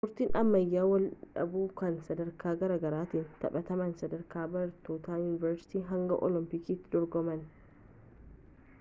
ispoortiin ammayya waldhiibuu kun sadarkaa garaagaraatti taphatama sadarkaa barattoota yuunivarsiitii hanga olompiikiitti dorgomama